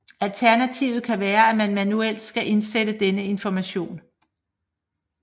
Alternativet kan være at man manuelt skal indsætte denne information